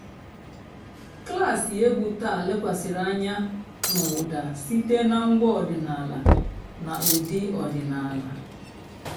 klásì ègwú tàà lékwasị́rị́ ànyá n'ụ́dà sìté nà ǹgwá ọ̀dị́náàlà nà ụ́dị́ ọ̀dị́náàlà.